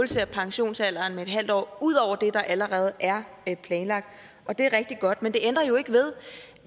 pensionsalderen yderligere med en halv år ud over det der allerede er planlagt og det er rigtig godt men det ændrer jo ikke ved